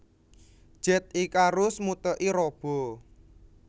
Jet Icarus Muteki Robo